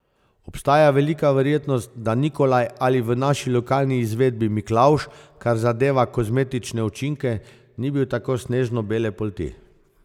Obstaja velika verjetnost, da Nikolaj ali v naši lokalni izvedbi Miklavž, kar zadeva kozmetične učinke, ni bil tako snežno bele polti.